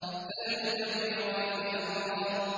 فَالْمُدَبِّرَاتِ أَمْرًا